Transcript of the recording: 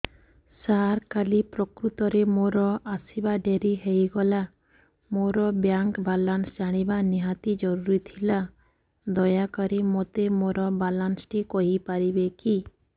ସାର କାଲି ପ୍ରକୃତରେ ମୋର ଆସିବା ଡେରି ହେଇଗଲା ମୋର ବ୍ୟାଙ୍କ ବାଲାନ୍ସ ଜାଣିବା ନିହାତି ଜରୁରୀ ଥିଲା ଦୟାକରି ମୋତେ ମୋର ବାଲାନ୍ସ ଟି କହିପାରିବେକି